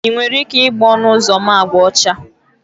Ị nwere ike igba ọnụ ụzọ m agba ọcha?